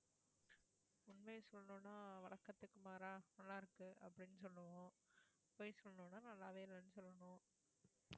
உண்மையா சொல்லணும்னா வழக்கத்திற்கு மாறா நல்லாருக்கு அப்படின்னு சொல்லணும், பொய் சொல்லணும்னா நல்லாவே இல்லைன்னு சொல்லணும்